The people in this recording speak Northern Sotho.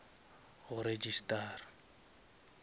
go registara